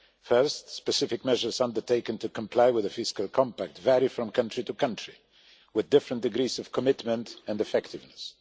First, specific measures undertaken to comply with the fiscal compact vary from country to country, with different degrees of commitment and effectiveness.